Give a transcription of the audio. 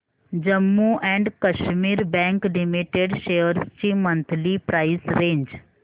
Jammu and Kashmir bank limited shares ची monthly price range